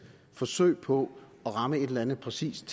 forsøg på at ramme et eller andet præcist